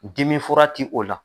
Dimifura ti o la.